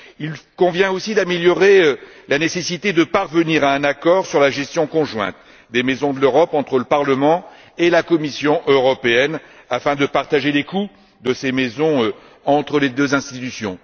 Il convient aussi de souligner la nécessité de parvenir à un accord sur la gestion conjointe des Maisons de l'Europe, entre le Parlement et la Commission européenne, afin de partager les coûts de ces maisons entre les deux institutions.